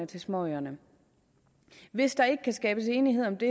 til småøerne hvis der ikke kan skabes enighed om det